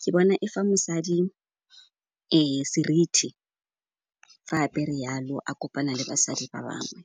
ke bona e fa mosadi seriti fa apere yalo, a kopana le basadi ba bangwe.